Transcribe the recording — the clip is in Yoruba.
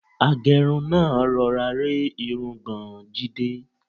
Agẹ́run náà rọra rẹ́ irungbọ̀n Jídé.